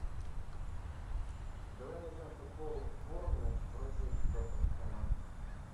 давай найдем футбол борнмут против тоттенхэма